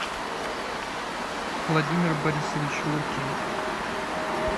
владимир борисович лукин